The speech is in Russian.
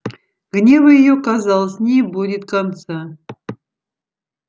гневу её казалось не будет конца